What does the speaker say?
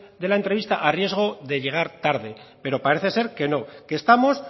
de la entrevista a riesgo de llegar tarde pero parece ser que no que estamos